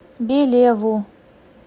белеву